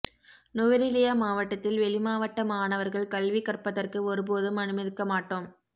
நுவரெலியா மாவட்டத்தில் வெளிமாவட்ட மாணவர்கள் கல்வி கற்பதற்கு ஒருபோதும் அனுமதிக்க மாட்டோம்